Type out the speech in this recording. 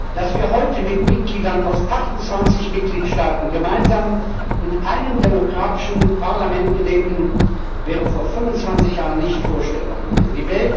Dass wir heute mit Mitgliedern aus 28 Mitgliedstaaten gemeinsam in einem demokratischen Parlament gedenken, wäre vor 25 Jahren nicht vorstellbar gewesen.